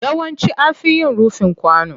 Yawanci an fi yin rufin kwano.